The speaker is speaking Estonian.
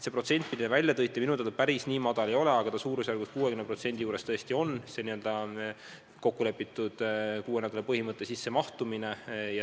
See protsent, mille te välja tõite, minu teada päris nii madal ei ole, aga suurusjärgus vaid 60%-l tõesti täidetakse seda n-ö kokku lepitud kuue nädala ooteaja põhimõtet.